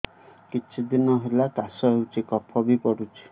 କିଛି ଦିନହେଲା କାଶ ହେଉଛି କଫ ବି ପଡୁଛି